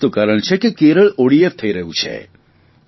આ જ તો કારણ છે કે કેરળ ઓડીએફ થઇ રહ્યું છે